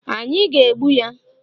Anyị ga-egbu ya